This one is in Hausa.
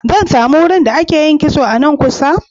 Zan sami wurin da ake yin kitso a nan kusa?